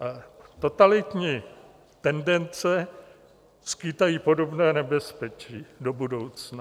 Totalitní tendence skýtají podobné nebezpečí do budoucna.